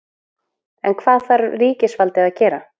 En hvað þarf ríkisvaldið að gera?